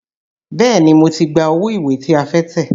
Bẹ́ẹ̀ni, mo ti gba owó ìwé tí a fẹ́ tẹ̀.